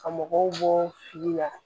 Ka mɔgɔw bɔ fili la